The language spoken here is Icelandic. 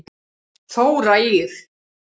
Þóra Ýr.